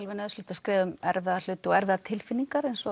nauðsynlegt að skrifa um erfiða hluti og erfiðar tilfinningar eins og